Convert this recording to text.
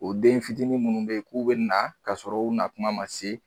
O den fitinin minnu bɛ yen k'u bɛ na kasɔrɔ u nakuma ma se